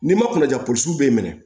N'i ma kunnaja poro b'e minɛ